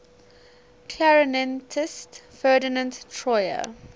clarinetist ferdinand troyer